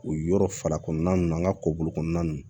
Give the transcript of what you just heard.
U yɔrɔ fara kɔnɔna ninnu an ka ko bolo kɔnɔna ninnu